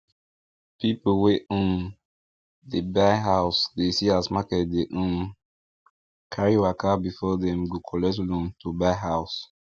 people wey um dey buy house dey see as market dey um carry waka before them go collect loan to buy house